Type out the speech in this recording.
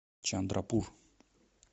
чандрапур